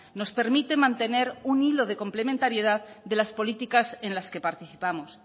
nos permite mantener un hilo de complementariedad de las políticas en las que participamos